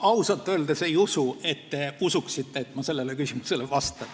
Ma ausalt öeldes ei usu, et te usute, et ma sellele küsimusele vastan.